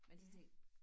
Men så tænk